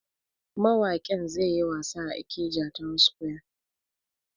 Mawakin zai yi wasa a Ikeja town square.